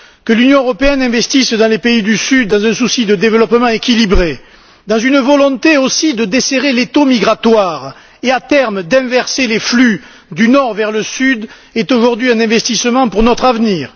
Que l'Union européenne investisse dans les pays du Sud dans un souci de développement équilibré, dans une volonté aussi de desserrer l'étau migratoire et, à terme, d'inverser les flux du Nord vers le Sud, est aujourd'hui un investissement pour notre avenir.